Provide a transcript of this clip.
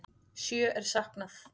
Sjö er saknað.